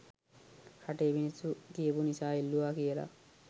රටේ මිනිස්සු කියපු නිසා එල්ලුවා කියල.